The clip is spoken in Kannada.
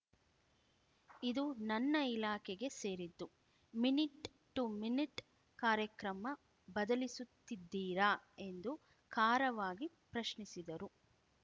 ಇದು ನನ್ನ ಇಲಾಖೆಗೆ ಸೇರಿದ್ದು ಮಿನಿಟ್‌ ಟು ಮಿನಿಟ್‌ ಕಾರ್ಯಕ್ರಮ ಬದಲಿಸುತ್ತಿದ್ದೀರಾ ಎಂದು ಖಾರವಾಗಿ ಪ್ರಶ್ನಿಸಿದರು